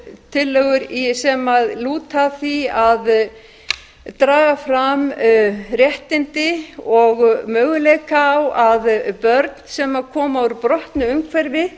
tillögur sem lúta að því að draga fram réttindi og möguleika á að börn sem koma úr brotnu umhverfi